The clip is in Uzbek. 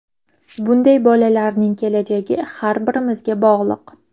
Bunday bolalarning kelajagi har birimizga bog‘liq.